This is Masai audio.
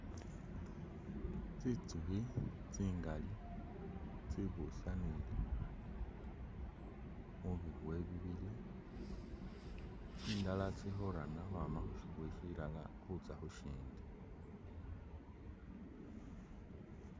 Tsitsukhi tsingali tsibusanile mubiboye bibili, tsindala tsili khurana ukhwama khusirara khutsa khushindi.